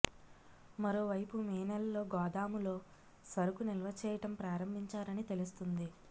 మరో వైపు మే నెలలో గోదాములో సరుకు నిల్వ చేయటం ప్రారంభించారని తెలుస్తుంది